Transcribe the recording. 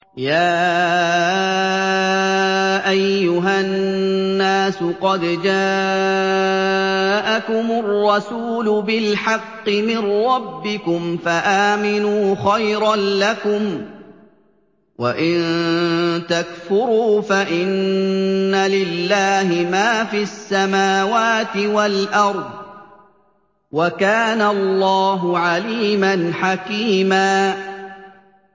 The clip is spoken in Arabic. يَا أَيُّهَا النَّاسُ قَدْ جَاءَكُمُ الرَّسُولُ بِالْحَقِّ مِن رَّبِّكُمْ فَآمِنُوا خَيْرًا لَّكُمْ ۚ وَإِن تَكْفُرُوا فَإِنَّ لِلَّهِ مَا فِي السَّمَاوَاتِ وَالْأَرْضِ ۚ وَكَانَ اللَّهُ عَلِيمًا حَكِيمًا